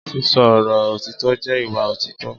sisọ Oro otitọ jẹ ìwá otitọ